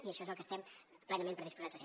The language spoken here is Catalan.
i això és el que estem plenament predisposats a fer